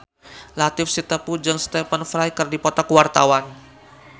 Latief Sitepu jeung Stephen Fry keur dipoto ku wartawan